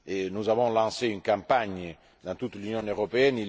Nous avons lancé une campagne dans toute l'Union européenne.